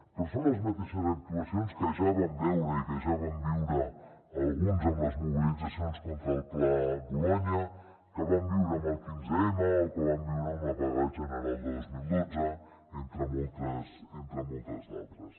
però són les mateixes actuacions que ja vam veure i que ja vam viure alguns en les mobilitzacions contra el pla bolonya que vam viure en el quinze m o que vam viure en la vaga general de dos mil dotze entre moltes d’altres